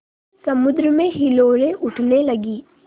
समुद्र में हिलोरें उठने लगीं